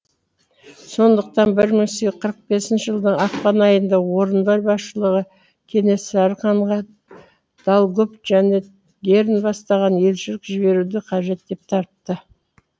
сондықтан бр мың сегіз қырық бесінші жылдың ақпан айында орынбор басшылығы кенесары ханға долгов және герн бастаған елшілік жіберуді қажет деп тапты